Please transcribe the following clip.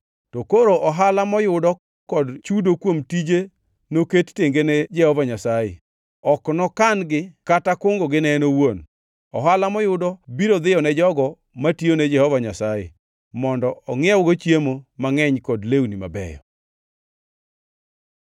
To koro ohala moyudo kod chudo kuom tije noket tenge ne Jehova Nyasaye; ok nokan-gi kata kungogi ne en owuon. Ohala moyudo biro dhiyone jogo matiyone Jehova Nyasaye mondo ongʼiewgo chiemo mangʼeny kod lewni mabeyo.